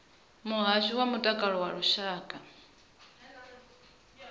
muhasho wa mutakalo wa lushaka